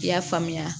I y'a faamuya